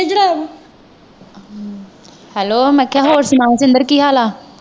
Hello ਮੈਂ ਕਿਹਾ ਹੋਰ ਸੁਣਾਉ ਸਿੰਦਰ ਕੀ ਹਾਲ ਹੈ?